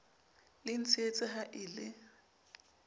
le ntshehetse ha e le